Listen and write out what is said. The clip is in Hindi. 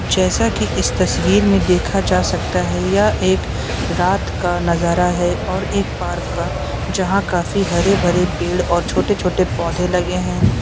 जैसा कि इस तस्वीर में देखा जा सकता है यह एक रात का नजारा है और एक पार्क का जहां काफी हरे-भरे पेड़ और छोटे-छोटे पौधे लगे हैं।